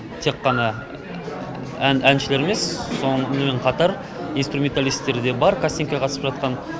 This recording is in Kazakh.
тек қана әншілер емес сонымен қатар инструменталистер де бар кастингке қатысып жатқан